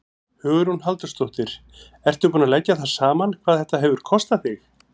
Hugrún Halldórsdóttir: Ertu búinn að leggja það saman hvað þetta hefur kostað þig?